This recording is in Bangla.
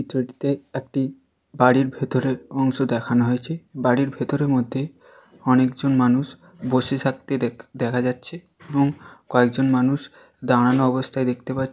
এই ছবিটিতে একটি বাড়ির ভেতরে অংশ দেখানো হয়েছে। বাড়ির ভেতরের মধ্যে অনেক জন মানুষ বসে থাকতে দেখ দেখা যাচ্ছে এবং কয়েকজন মানুষ দাঁড়ানো অবস্থায় দেখতে পা--